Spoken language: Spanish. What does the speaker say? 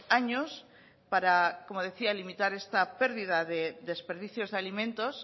años para como decía limitar esta pérdida de desperdicios de alimentos